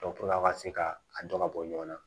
ka se ka a dɔn ka bɔ ɲɔgɔn na